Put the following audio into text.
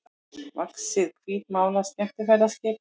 vaxið hvítmálað skemmtiferðaskip.